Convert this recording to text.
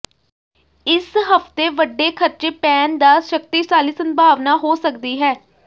ਇਸ ਹਫਤੇ ਵੱਡੇ ਖਰਚੇ ਪੈਣ ਦਾ ਸ਼ਕਤੀਸ਼ਾਲੀ ਸੰਭਾਵਨਾ ਹੋ ਸਕਦੀ ਹੈ